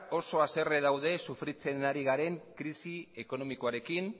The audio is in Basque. oso haserre dauden sufritzen ari garen krisi ekonomikoarekin